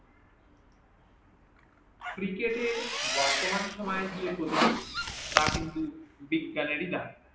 cricket এর বর্তমান সময়ের যে প্রত্যুগ তা কিন্তু বিজ্ঞানেরই দাই